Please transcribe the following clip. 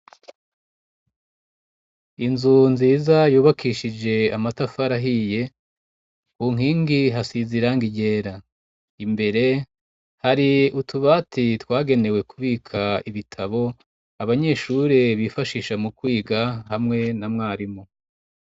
Inzu nziza yubakishije amatafari ahiye, ku nkingi hasize irangi ryera. Imbere, hari utubati twagenewe kubika ibitabo, abanyeshuri bifashisha mu kwiga hamwe na mwarimu.